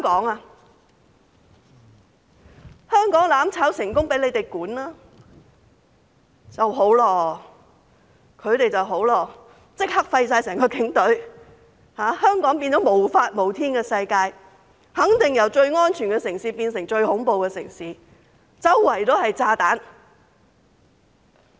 假如香港"攬炒"成功，由他們來管治，他們便會立即廢除警隊，香港變成無法無天的世界，肯定由最安全的城市變成最恐怖的城市，四處都是炸彈。